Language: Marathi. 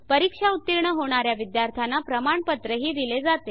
परीक्षा उत्तीर्ण होणा या विद्यार्थ्यांना प्रमाणपत्रही दिले जाते